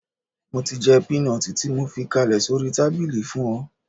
Mo ti jẹ́ pínọtì tí mo fi kalẹ̀ sórí tábìlì fún ọ